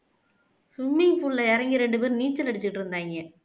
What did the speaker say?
swimming pool ல இறங்கி ரெண்டு பேரும் நீச்சல் அடிச்சிட்டு இருந்தாய்ங்க